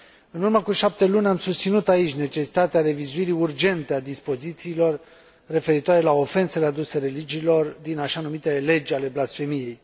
În urmă cu șapte luni, am susținut aici necesitatea revizuirii urgente a dispozițiilor referitoare la ofensele aduse religiilor din așa numitele legi ale blasfemiei.